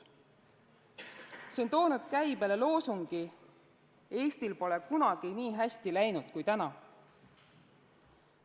See on toonud käibele loosungi "Eestil pole kunagi nii hästi läinud kui täna".